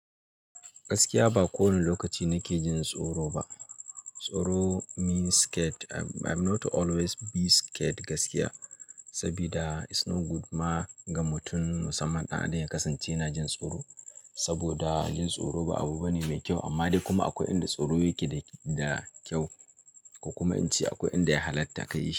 Gaskiya ba kowane lokaci na ke jin tsoro ba. Tsoro means scared. I'm not always be scared gaskiya, saboda it's not good ma ga mutum musamman ɗan adam ya kasance yana jin tsoro. Saboda jin tsoro ba abu bane mai kyau amma dai kuma akwai inda tsoro yake da kyau, ko kuma in ce akwai inda ya halatta ka yi.